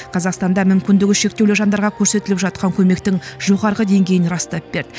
қазақстанда мүмкіндігі шектеулі жандарға көрсетіліп жатқан көмектің жоғарғы деңгейін растап берді